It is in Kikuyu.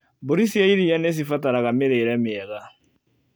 Mbũri cia iria nĩcibataraga mĩrire mĩega.